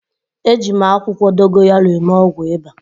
Eji m akwụkwọ dogoyaro eme ọgwụ ịba